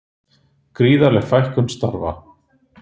Gríðarleg fækkun starfa